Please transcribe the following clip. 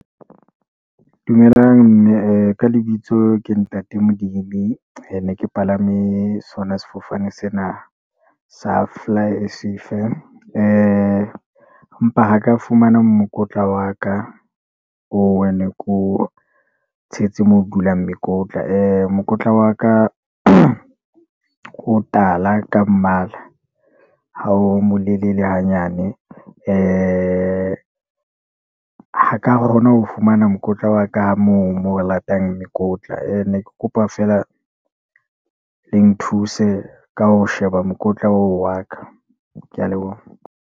Dumelang mme, ka lebitso ke ntate Molimi, ke palame sona sefofane sena, sa fly S_A firm, mpa ho ka fumana mokotla wa ka, oo ne ke o tshetse moo o dulang mekotla mokotla wa ka o tala ka mmala, ha o molelele hanyane, ha ka kgona ho fumana mokotla wa ka moo, moo re latang mekotla. E ne ke kopa feela le nthuse ka ho sheba mokotla oo wa ka. Ke ya leboha.